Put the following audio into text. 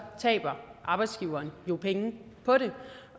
taber arbejdsgiverne jo penge på den